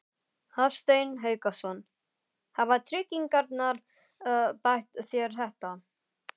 Hafsteinn Hauksson: Hafa tryggingarnar bætt þér þetta?